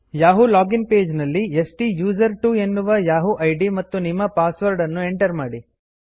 Yahoo login page ನಲ್ಲಿ ಸ್ಟುಸರ್ಟ್ವೊ ಎನ್ನುವ ಯಹೂ ಇದ್ ಮತ್ತು ನಿಮ್ಮ ಪಾಸ್ ವರ್ಡ್ ಅನ್ನು ಎಂಟರ್ ಮಾಡಿ